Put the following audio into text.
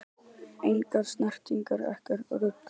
Engar snertingar, ekkert rugl!